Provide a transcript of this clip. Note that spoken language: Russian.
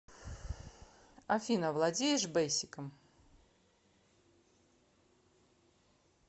афина владеешь бейсиком